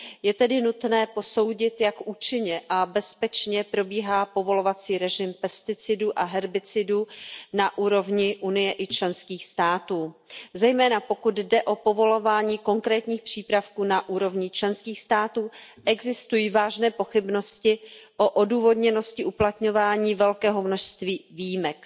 Je tedy nutné posoudit, jak účinně a bezpečně probíhá povolovací režim pesticidů a herbicidů na úrovni Unie i členských států. Zejména pokud jde o povolování konkrétních přípravků na úrovni členských států, existují vážné pochybnosti o odůvodněnosti uplatňování velkého množství výjimek.